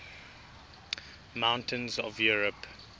mountains of europe